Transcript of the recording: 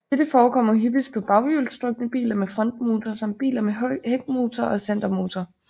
Dette forekommer hyppigst på baghjulstrukne biler med frontmotor samt biler med hækmotor og centermotor